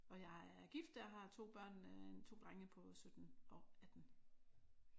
Og jeg er gift. Jeg har 2 børn en 2 drenge på 17 og 18